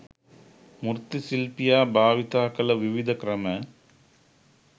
මූර්ති ශිල්පියා භාවිතා කළ විවිධ ක්‍රම